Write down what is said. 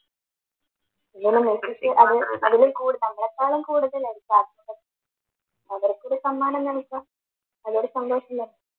അന്നേരം മെസ്സിക്ക് അതിലും കൂടുതൽ നമ്മളെക്കാൾ കൂടുതൽ ആയിരിക്കും അവരെ കൂട അതൊരു സന്തോഷം തന്നെ